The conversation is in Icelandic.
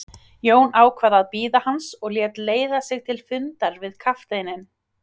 Jón ákvað að bíða hans og lét leiða sig til fundar við kafteininn.